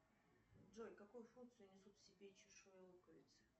джой какую функцию несут в себе чешуи луковицы